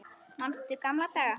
Manstu gamla daga?